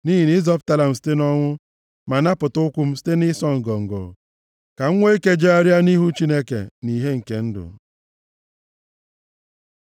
Nʼihi na ị zọpụtala m site nʼọnwụ, ma napụta ụkwụ m site nʼịsọ ngọngọ, ka m nwee ike jegharịa nʼihu Chineke, nʼìhè nke ndụ.